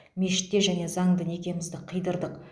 мешітте және заңды некемізді қидырдық